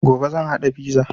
Gobe zan haɗa fiza